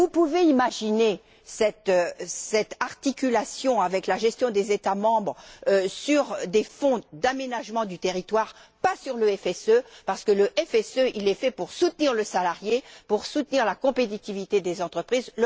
Vous pouvez imaginer cette articulation avec la gestion des États membres sur des fonds d'aménagement du territoire, pas sur le FSE, parce que ce dernier est fait pour soutenir le salarié et pour soutenir la compétitivité des entreprises.